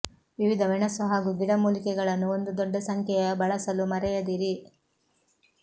ವಿವಿಧ ಮೆಣಸು ಹಾಗೂ ಗಿಡಮೂಲಿಕೆಗಳನ್ನು ಒಂದು ದೊಡ್ಡ ಸಂಖ್ಯೆಯ ಬಳಸಲು ಮರೆಯದಿರಿ